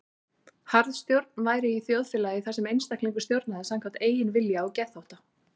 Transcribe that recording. Harðstjórn væri í þjóðfélagi þar sem einstaklingur stjórnaði samkvæmt eigin vilja og geðþótta.